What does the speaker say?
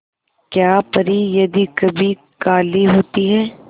क्या परी यदि कभी काली होती है